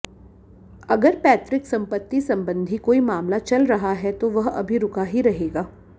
अगर पैतृक संपत्ति संबंधी कोई मामला चल रहा है तो वह अभी रुका ही रहेगा